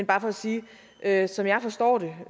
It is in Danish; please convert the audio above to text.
bare for at sige at som jeg forstår det